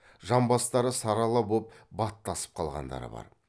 жамбастары сарала боп баттасып қалғандары бар